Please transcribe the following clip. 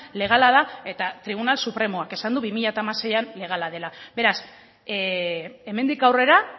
legala da eta tribunal supremoak esan du bi mila hamaseian legala dela beraz hemendik aurrera